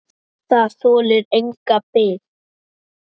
Það þolir enga bið.